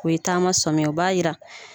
Ko ye taama sɔmin ye o b'a yira